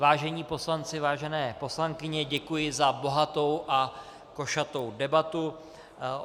Vážení poslanci, vážené poslankyně, děkuji za bohatou a košatou debatu.